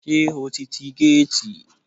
Ṣé o ti ti géètì?